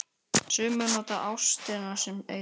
Sumir nota ástina sem eitur.